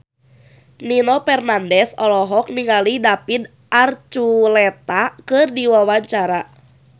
Nino Fernandez olohok ningali David Archuletta keur diwawancara